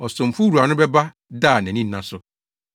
Ɔsomfo no wura no bɛba da a nʼani nna so.